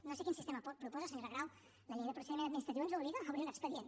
no sé quin sistema proposa senyora grau la llei de procediment administratiu ens hi obliga a obrir un expedient